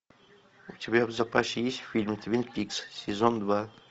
у тебя в запасе есть фильм твин пикс сезон два